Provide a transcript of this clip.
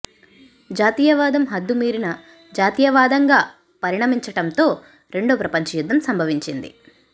జాతీయవాదం హద్దు మీరిన జాతీయవాదంగా పరిణమించటంతో రెండో ప్రపంచ యుద్ధం సంభవించింది